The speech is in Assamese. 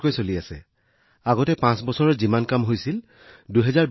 ২০২০ চনৰ পৰা কল্পনা কৰক যে আমি পাঁচ বছৰত যি পৰিমাণৰ কাম কৰিছিলো সেয়া এতিয়া এবছৰত কৰা হৈছে